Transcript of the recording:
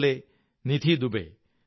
അതേപോലെ നിധി ദുബേ